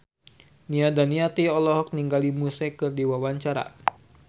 Nia Daniati olohok ningali Muse keur diwawancara